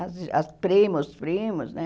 As as primas, os primos, né?